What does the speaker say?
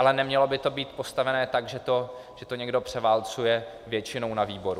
Ale nemělo by to být postaveno tak, že to někdo převálcuje většinou na výboru.